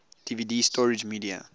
dvd storage media